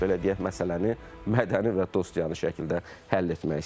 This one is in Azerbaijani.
Belə deyək, məsələni mədəni və dostyanı şəkildə həll etmək istəyir.